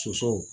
Sosow